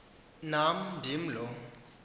nam indim lo